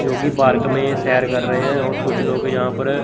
जो कि पार्क में सैर कर रहे है और कुछ लोग यहां पर--